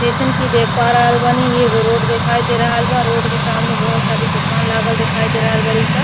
जइसन की देख पा रहल बानी एगो रोड देखाइ दे रहल बा। रोड के सामने बहुत सारी दुकान लागल दिखाई दे रहल बाड़ी सा।